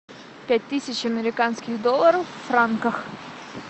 пять тысяч американских долларов в франках